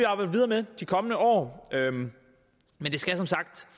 arbejde videre med de kommende år men det skal som sagt